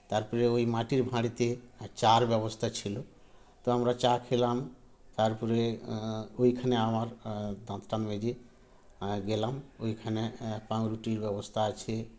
তারপরে ঐ মাটির ভাঁড়েতে চার ব্যবস্থা ছিল তো আমরা চা খেলাম তারপরে আ ঐখানে আমার আআ দাঁত টাত মেজে এ গেলাম ঐখানে এ পাউরুটির ব্যবস্থা আছে